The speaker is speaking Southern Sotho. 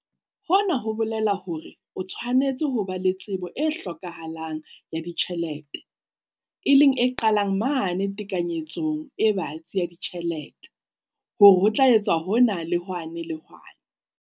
Hona ho bolela hore o tshwanetse ho ba le tsebo e hlokahalang ya ditjhelete, e leng e qalang mane tekanyetsong e batsi ya ditjhelete, hore ho tla etswa hona le hwane le hwane.